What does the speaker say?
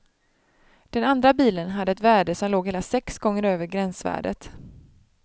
Den andra bilen hade ett värde som låg hela sex gånger över gränsvärdet.